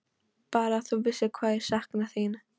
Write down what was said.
Bara að þú vissir hvað ég sakna þín.